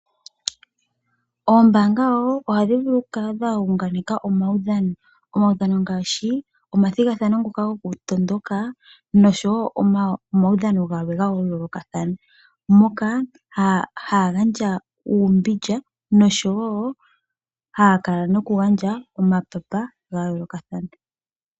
Oombaanga wo ohadhi vulu okukala dha unganeka omaudhano. Omaudhano ngaashi omathigathano ngoka gokutondoka, noshowo omaudhano gamwe ga yoolokathana moka haa gandja uumbindja noshowo has kala okugandja omapapa ga yoolokathana.